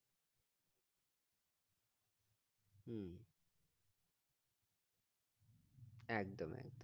হম একদম একদম